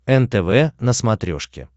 нтв на смотрешке